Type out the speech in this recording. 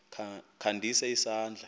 kha ndise isandla